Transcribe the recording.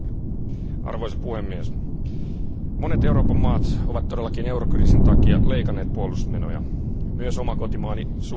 Arvoisa puhemies, monet Euroopan maat ovat todellakin eurokriisin takia leikanneet puolustusmenoja, myös oma kotimaani Suomi.